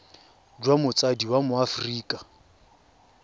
jwa motsadi wa mo aforika